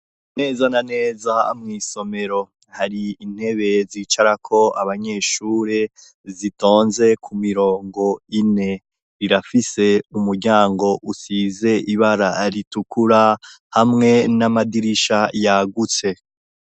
Neza na neza mw'isomero hari intebe zicarako abanyeshure zitonze ku mirongo ine rirafise umuryango usize ibara ritukura hamwe n'amadirisha yagutse.